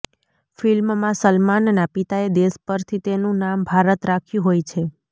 ફિલ્મમાં સલમાનના પિતાએ દેશ પરથી તેનું નામ ભારત રાખ્યું હોય છે